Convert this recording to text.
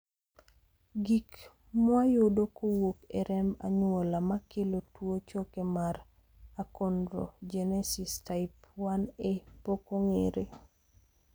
gik mwayudo kowuok e remb anyuola makelo tuo choke mar achonrogenesis type 1A pok ong'ere